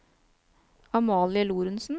Amalie Lorentsen